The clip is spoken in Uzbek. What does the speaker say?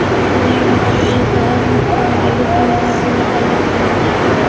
Buning uchun esa oz miqdordagi tovon puli talab qilgan.